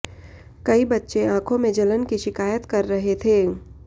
कई बच्चे आंखों में जलन की शिकायत कर रहे थे